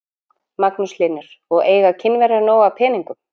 Magnús Hlynur: Og eiga Kínverjar nóg af peningum?